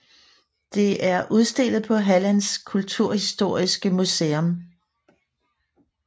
Det er udstillet på Hallands kulturhistoriska museum